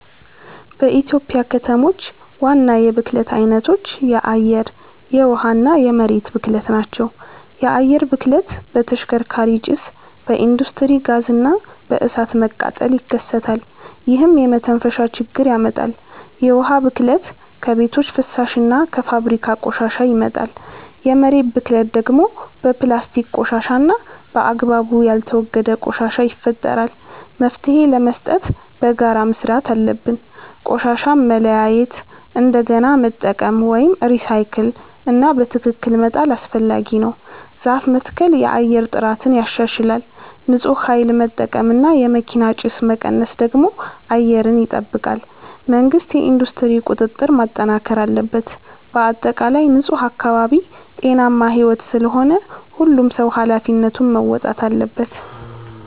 በኢትዮጵያ ከተሞች ዋና የብክለት አይነቶች የአየር፣ የውሃ እና የመሬት ብክለት ናቸው። የአየር ብክለት በተሽከርካሪ ጭስ፣ በኢንዱስትሪ ጋዝ እና በእሳት መቃጠል ይከሰታል፣ ይህም የመተንፈሻ ችግር ያመጣል። የውሃ ብክለት ከቤቶች ፍሳሽ እና ከፋብሪካ ቆሻሻ ይመጣል። የመሬት ብክለት ደግሞ በፕላስቲክ ቆሻሻ እና በአግባቡ ያልተወገደ ቆሻሻ ይፈጠራል። መፍትሄ ለመስጠት በጋራ መስራት አለብን። ቆሻሻን መለያየት፣ እንደገና መጠቀም (recycle) እና በትክክል መጣል አስፈላጊ ነው። ዛፍ መትከል የአየር ጥራትን ያሻሽላል። ንፁህ ኃይል መጠቀም እና የመኪና ጭስ መቀነስ ደግሞ አየርን ይጠብቃል። መንግሥት የኢንዱስትሪ ቁጥጥር ማጠናከር አለበት። በአጠቃላይ ንፁህ አካባቢ ጤናማ ሕይወት ስለሆነ ሁሉም ሰው ኃላፊነቱን መወጣት አለበት።